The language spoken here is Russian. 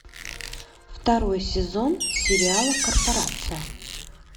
второй сезон сериала корпорация